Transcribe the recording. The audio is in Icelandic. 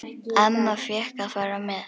Amma fékk að fara með.